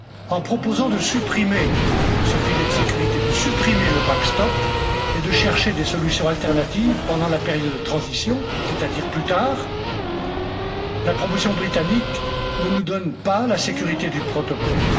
En proposant de supprimer ce filet de sécurité, de supprimer le backstop et de chercher des solutions alternatives pendant la période de transition, c'est à dire plus tard, la proposition britannique ne nous donne pas la sécurité du protocole.